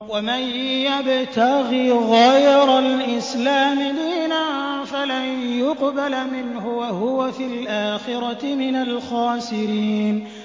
وَمَن يَبْتَغِ غَيْرَ الْإِسْلَامِ دِينًا فَلَن يُقْبَلَ مِنْهُ وَهُوَ فِي الْآخِرَةِ مِنَ الْخَاسِرِينَ